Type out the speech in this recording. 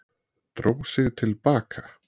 Dró sig til baka